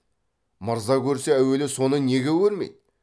мырза көрсе әуелі соны неге көрмейді